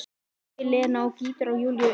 spyr Lena og gýtur á Júlíu auga.